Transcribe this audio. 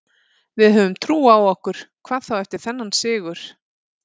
Við höfum trú á okkur, hvað þá eftir þennan sigur.